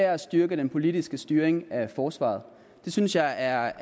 er at styrke den politiske styring af forsvaret det synes jeg er